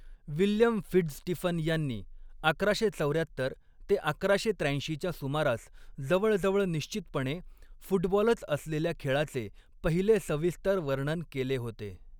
William Fitzstephen यांनी अकराशे चौऱ्यात्तर ते अकराशे त्र्याऐंशीच्या सुमारास जवळजवळ निश्चितपणे फुटबॉलच असलेल्या खेळाचे पहिले सविस्तर वर्णन केले होते.